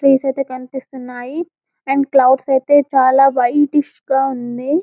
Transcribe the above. trees అయితే కనిపిస్తున్నాయి and clouds అయితే చాలా వైటిస్ గా ఉంది